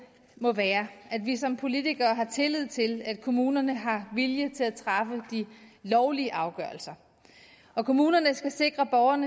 må være at vi som politikere har tillid til at kommunerne har viljen til at træffe de lovlige afgørelser og kommunerne skal sikre at borgeren